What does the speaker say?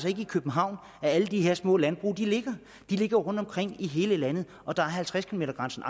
ikke i københavn alle de her små landbrug ligger de ligger rundtomkring i hele landet og der er halvtreds kilometer grænsen